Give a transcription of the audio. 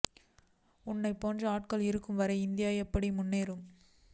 உன்னை போன்ற ஆட்கள் இருக்கும் வரை இந்தியா எப்படி முன்னேறும்